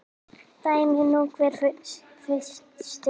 Dæmi nú hver fyrir sig.